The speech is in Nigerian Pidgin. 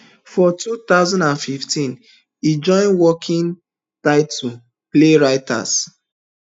for two thousand and fifteen e join working title playwrights